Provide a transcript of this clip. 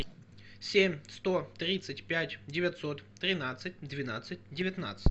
семь сто тридцать пять девятьсот тринадцать двенадцать девятнадцать